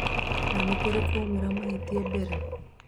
na nĩkũrĩ kwaumĩra mahitia mbere.